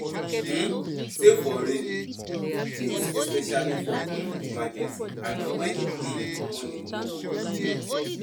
um Save for rainy days especially for um emergency and when um money no go dey